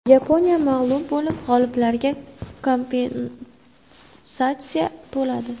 Yaponiya mag‘lub bo‘lib, g‘oliblarga kompensatsiya to‘ladi.